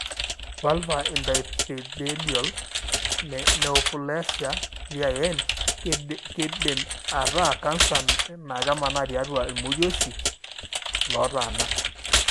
Vulvar intraepithelial neoplasia(VIN) kindim ataa canser na kemana tiatua ilmorioshi lotanaa.